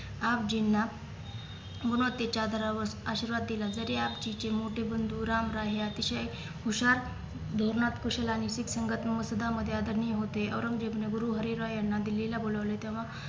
आपजींना गुणवत्तेच्या आधारावर आशीर्वाद दिला जरी आपजींचे मोठे बंधू राम राय हे अतिशय हुशार धोरणात कुशल आणि शीख संगत मुले सुद्धा मधे आदरणीय होतेऔरंगजेब ने गुरु हरी राय यांना दिल्ली ला बोलावले तेव्हा